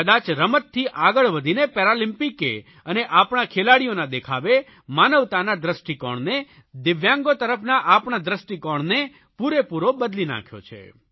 કદાચ રમતથી આગળ વધીને પેરાલમ્પિકે અને આપણા ખેલાડીઓના દેખાવે માનવતાના દ્રષ્ટિકોણને દિવ્યાંગો તરફના આપણા દ્રષ્ટિકોણને પૂરેપૂરો બદલી નાંખ્યો છે